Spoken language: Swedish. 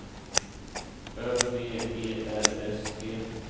Ö V E R S T